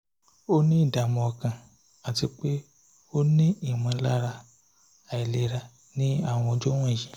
ó ní ìdààmú ọkàn àti pé ó ní ìmọ̀lára aláìlera ní àwọn ọjọ́ wọ̀nyí